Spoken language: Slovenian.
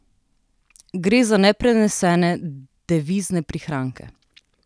Gre za neprenesene devizne prihranke.